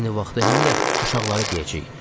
Eyni vaxtda həm də uşaqlara deyəcəyik.